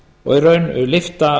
og í raun lyfta